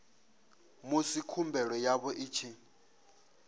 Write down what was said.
musi khumbelo yavho i tshi